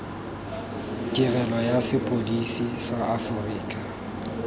tirelo ya sepodisi sa aforika